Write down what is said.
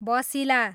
बसिला